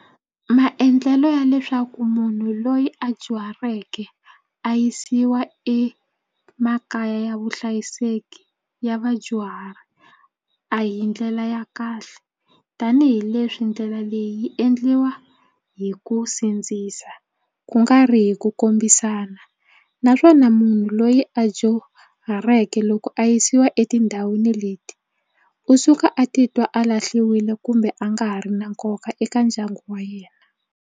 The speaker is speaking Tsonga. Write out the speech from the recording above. Maendlelo ya leswaku munhu loyi a dyuhaleke a yisiwa emakaya vuhlayiseki ya vadyuhari a hi ndlela ya kahle tanihileswi ndlela leyi yi endliwa hi ku sindzisa ku nga ri hi ku kombisana naswona munhu loyi a dyuhaleke loko a yisiwa etindhawini leti u suka a titwa a lahliwile kumbe a nga ha ri na nkoka eka ndyangu wa yena.